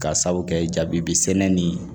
Ka sababu kɛ jabi sɛnɛ ni